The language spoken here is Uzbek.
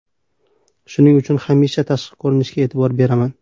Shuning uchun hamisha tashqi ko‘rinishimga e’tibor beraman.